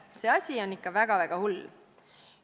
see asi on ikka väga-väga hull.